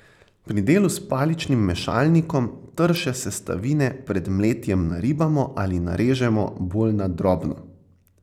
Pri delu s paličnim mešalnikom trše sestavine pred mletjem naribamo ali narežemo bolj na drobno.